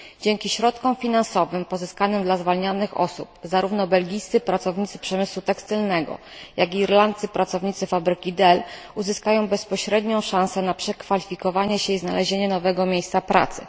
Dzięki środkom finansowym pozyskanym dla zwalnianych osób, zarówno belgijscy pracownicy przemysłu tekstylnego, jak i irlandzcy pracownicy fabryki Dell uzyskają bezpośrednią szansę ma przekwalifikowanie się i znalezienie nowego miejsca pracy.